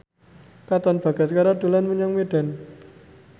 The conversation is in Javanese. Katon Bagaskara dolan menyang Medan